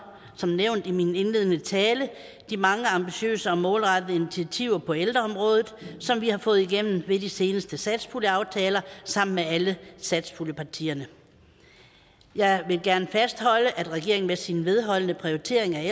som nævnt i min indledende tale de mange ambitiøse og målrettede initiativer på ældreområdet som vi har fået igennem ved de seneste satspuljeaftaler sammen med alle satspuljepartierne jeg vil gerne fastholde at regeringen med sin vedholdende prioritering af